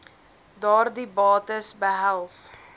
daardie bates behels